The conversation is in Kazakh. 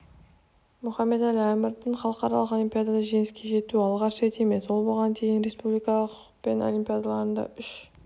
мұхамед-әлі әмірдің халықаралық олимпиадаларда жеңіске жетуі алғаш рет емес ол бұған дейін республикалық пән олимпиадаларында үш